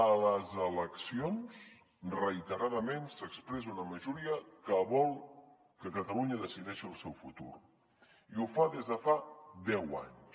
a les eleccions reiteradament s’expressa una majoria que vol que catalunya decideixi el seu futur i ho fa des de fa deu anys